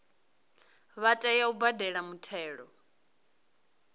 vha tea u badela muthelo